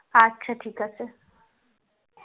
আচ্ছা ঠিক আছে